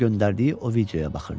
göndərdiyi o videoya baxırdı.